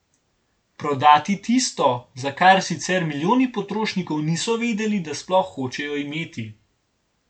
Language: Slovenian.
Prodati tisto, za kar sicer milijoni potrošnikov niso vedeli, da sploh hočejo imeti.